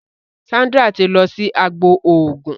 Sandra tí lọ sì àgbò oògùn.